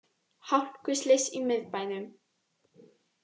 Hálkuslys í miðbænum